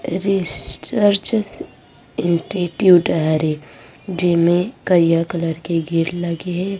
Research institute हरे जेमे करिया कलर के गेट लगे हे।